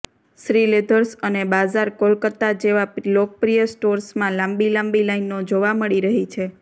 શ્રીલેધર્સ અને બાઝાર કોલકાતા જેવા લોકપ્રિય સ્ટોર્સમાં લાંબી લાંબી લાઇનો જોવા મળી રહી છે